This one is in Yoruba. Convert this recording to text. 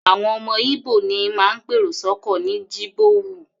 Àwọn ọmọ Íbò ní máa ń pèrò sọ́kọ̀ ní Jibowu